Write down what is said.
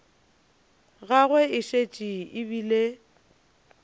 gagwe e šetše e bile